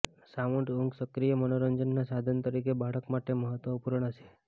sound ઊંઘ સક્રિય મનોરંજનના સાધન તરીકે બાળક માટે મહત્વપૂર્ણ છે